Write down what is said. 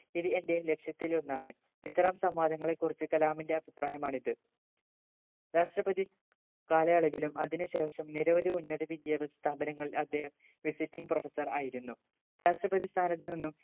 ഇത് എന്റെ ലക്ഷ്യത്തിലൊന്നാണ് ഇത്തരം സംവാദങ്ങളെ കുറിച്ച് കലാമിന്റെ അഭിപ്രായമാണ് ഇത് രാഷ്‌ട്രപതി കാലയളവിലും അതിനു ശേഷം നിരവധി ഉന്നത വിദ്യഭ്യാസ സ്ഥാപങ്ങളിൽ അദ്ദേഹം visiting professor ആയിരുന്നു രാഷ്‌ട്രപതി സ്ഥാനത്ത് നിന്നും